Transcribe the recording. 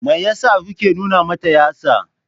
Me yasa kuke nuna mata yatsa?